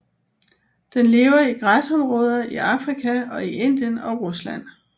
Den lever i græsområder i Afrika og i Indien og Rusland